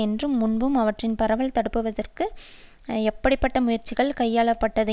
என்றும் முன்பு அவற்றின் பரவல் தடுப்பதற்கு எப்படி பட்ட முயற்சிகள் கையாள பட்டது